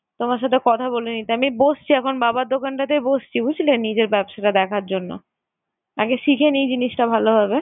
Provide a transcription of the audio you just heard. তোমার সাথে কথা বলে নিতে। আমি বসছি এখন বাবার দোকানটাতেই বসছি বুঝলে নিজের ব্যবসাটা দেখার জন্য। আগে শিখে নিই জিনিসটা ভালোভাবে।